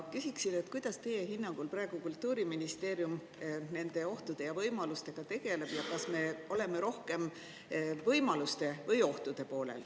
Küsin, kuidas teie hinnangul Kultuuriministeerium nende ohtude ja võimalustega praegu tegeleb ja kas me oleme rohkem võimaluste või ohtude poolel.